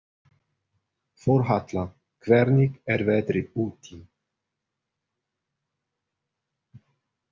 Þórhalla, hvernig er veðrið úti?